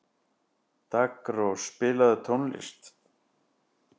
Daggrós, spilaðu tónlist.